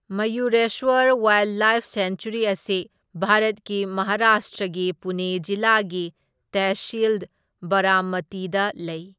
Mayureswar wildlife sanctuary ꯑꯁꯤ ꯚꯥꯔꯠꯀꯤ ꯃꯍꯥꯔꯥꯁꯇ꯭ꯔꯒꯤ ꯄꯨꯅꯦ ꯖꯤꯂꯥꯒꯤ ꯇꯦꯍꯁꯤꯜ ꯕꯥꯔꯥꯃꯇꯤꯗ ꯂꯩ꯫